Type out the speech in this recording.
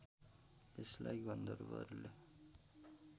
यसलाई गन्धर्वहरूले